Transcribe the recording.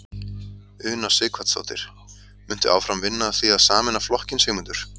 Una Sighvatsdóttir: Muntu áfram vinna að því að sameina flokkinn Sigmundur?